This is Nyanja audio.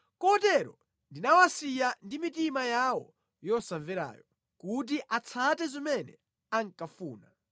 Kotero ndinawasiya ndi mitima yawo yosamverayo kuti atsate zimene ankafuna.